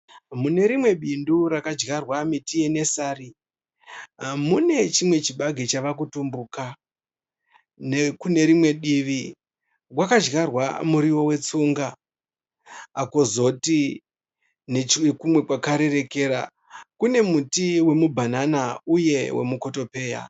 Mune rimwe bindu rakadyarwa miti yenesari. Mune chimwe chibage chave kutumbuka. Nekunerimwe divi makadyarwa muriwo wetsunga. Kozoti nechokumwe kwakarerekera kune muti wemubhanana newemukotopeya.